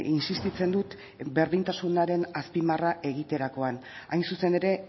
insistitzen dut berdintasunaren azpimarra egiterakoan hain zuzen ere